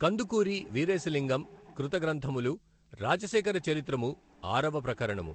కందుకూరి వీరేశలింగం కృత గ్రంథములు రాజశేఖర చరిత్రము ఆరవ ప్రకరణము